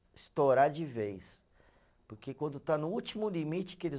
Estourar de vez, porque quando está no último limite que eles